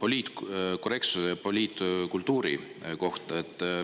poliitkorrektsuse või poliitkultuuri kohta.